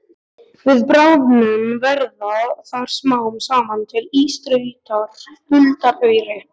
Við bráðnun verða þar smám saman til ísstrýtur huldar auri.